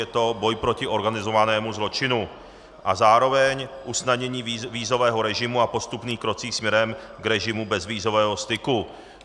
Je to boj proti organizovanému zločinu a zároveň usnadnění vízového režimu a postupných kroků směrem k režimu bezvízového styku.